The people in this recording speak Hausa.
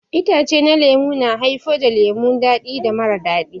Itace na lemu na haifar da lemu dadi da mara dadi.